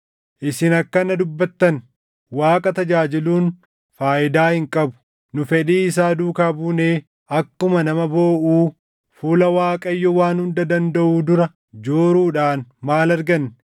“Isin akkana dubbattan; ‘Waaqa tajaajiluun faayidaa hin qabu. Nu fedhii isaa duukaa buunee akkuma nama booʼuu, fuula Waaqayyo Waan Hunda Dandaʼuu dura jooruudhaan maal arganne?